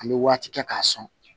An bɛ waati kɛ k'a sɔn